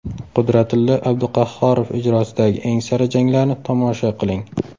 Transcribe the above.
Qudratillo Abduqahhorov ijrosidagi eng sara janglarni tomosha qiling!